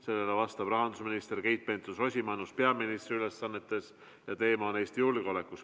Sellele vastab rahandusminister Keit Pentus-Rosimannus peaministri ülesannetes ja teema on Eesti julgeolek.